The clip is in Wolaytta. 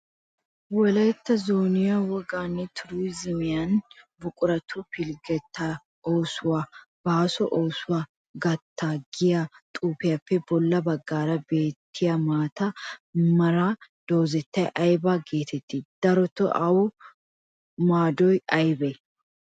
Wolaytta zooniyan wogaane turuzemiyaanne buqurattu pilggetta oosuwaa baaso oosuwaa qatta giya xuufiyappe bolla baggaara beetiyaa maataa meeraa doozzay aybaa geeteti? Daroto awu maadoy aybee?